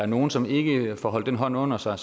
nogen som ikke får holdt den hånd under sig